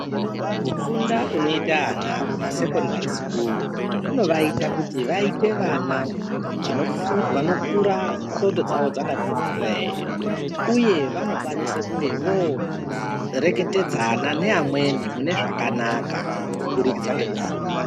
Kufunda kunoite ana kumasekondari sikuru, kunovaita kuti vaite vana, vanofu vanokura ndxondo dzavo dzakati twee, uye vanokwanise kunge vooreketedzana neamweni mune zvakanaka kuburikidza ngekufunda.